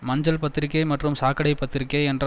மஞ்சள் பத்திரிகை மற்றும் சாக்கடை பத்திரிக்கை என்ற